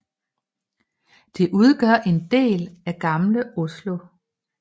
Det udgør en del af Gamle Oslo